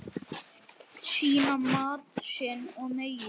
Sýna mátt sinn og megin.